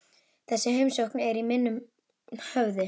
Þessi heimsókn er í minnum höfð.